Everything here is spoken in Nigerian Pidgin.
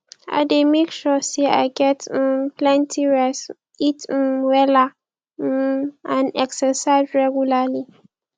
i dey make sure say i get um plenty rest eat um wella um and exercise regularly